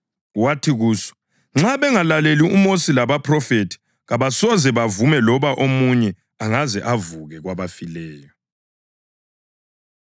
Wathi kuso, ‘Nxa bengalaleli uMosi labaPhrofethi, kabasoze bavume loba omunye angaze avuke kwabafileyo.’ ”